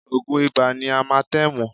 Oògùn Ibà ni Amatẹ́ẹ̀mù